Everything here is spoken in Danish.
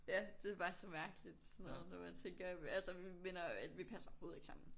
Ja det bare så mærkeligt sådan noget når man tænker altså vi minder vi passer overhovedet ikke sammen